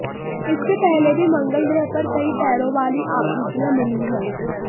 इससे पहले भी मंगल ग्रह पर कई पैरों वाली आकृतियां मिली हैं